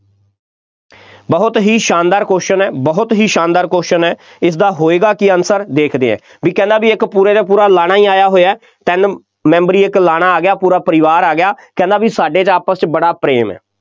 ਬਹੁਤ ਹੀ ਸ਼ਾਨਦਾਰ question ਹੈ, ਬਹੁਤ ਹੀ ਸ਼ਾਨਦਾਰ question ਹੈ, ਇਸਦਾ ਹੋਏਗਾ ਕੀ answer ਦੇਖਦੇ ਹਾਂ, ਬਈ ਕਹਿੰਦਾ ਕਿ ਇੱਕ ਪੂਰੇ ਦਾ ਪੂਰਾ ਲਾਣਾ ਹੀ ਆਇਆ ਹੋਇਆ, ਤਿੰਨ ਮੈਂਬਰੀ ਇੱਕ ਲਾਣਾ ਆ ਗਿਆ, ਪੂਰਾ ਪਰਿਵਾਰ ਆ ਗਿਆ, ਕਹਿੰਦਾ ਬਈ ਸਾਡੇ ਤਾਂ ਆਪਸ 'ਚ ਬੜਾ ਪ੍ਰੇਮ ਹੈ,